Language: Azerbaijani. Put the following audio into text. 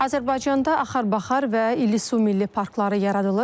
Azərbaycanda Axar-Baxar və İllisu Milli parkları yaradılır.